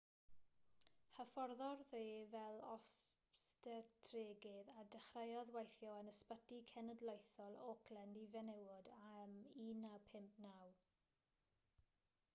hyfforddodd e fel obstetregydd a dechreuodd weithio yn ysbyty cenedlaethol auckland i fenywod ym 1959